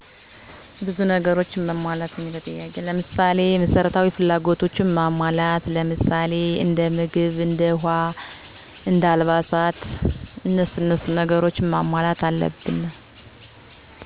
በጣም ጥሩ ግን ብዙ ነገሮች መሟላት ያለበት ነው።